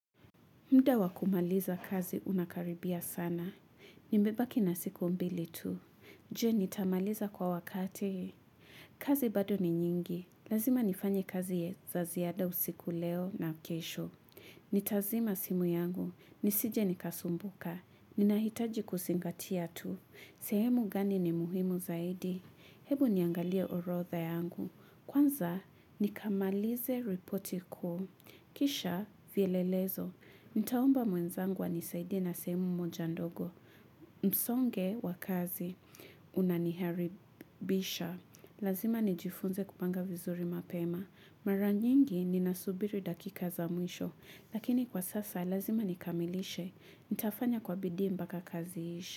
Mda wa kumaliza kazi unakaribia sana. Nimbe baki na siku mbili tu. Jee nitamaliza kwa wakati. Kazi bado ni nyingi. Lazima nifanye kazi ye za ziada usiku leo na kesho. Nitazima simu yangu. Nisije nikasumbuka. Ninahitaji kusingatia tu. Sehemu gani ni muhimu zaidi. Hebu niangalia orotha yangu. Kwanza nikamalize reporti kuu. Kisha fielelezo. Nitaomba mwenzangu anisaidie na semu moja ndogo. Msonge wa kazi unaniharibisha. Lazima nijifunze kupanga vizuri mapema. Mara nyingi ninasubiri dakika za mwisho. Lakini kwa sasa lazima nikamilishe. Nitafanya kwa bidii mbaka kazi iishe.